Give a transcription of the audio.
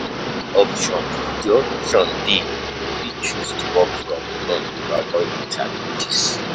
if di option if di option dey, you fit choose to work from home to avoid di challenges